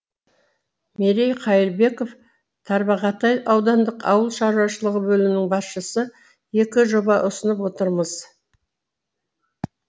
мерей қайырбеков тарбағатай аудандық ауыл шаруашылығы бөлімінің басшысы екі жоба ұсынып отырмыз